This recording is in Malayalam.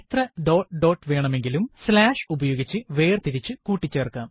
വിവരണം ഡോട്ട് dot വേണമെകിലും വിവരണം slash ഉപയോഗിച്ചു വേർതിരിച്ചു കൂട്ടിച്ചേർക്കാം